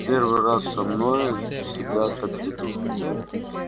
в первый раз со мной себя так ведут